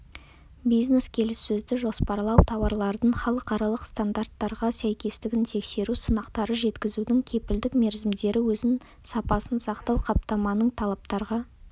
бизнес-келіссөзді жоспарлау тауарлардың халықаралық стандарттарға сәйкестігін тексеру сынақтары жеткізудің кепілдік мерзімдері өнім сапасын сақтау қаптаманың талаптарға